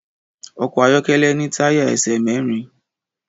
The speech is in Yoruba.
Ọkọ̀ ayọ́kẹ́lẹ́ ní táyà ẹsẹ̀ mẹ́rin.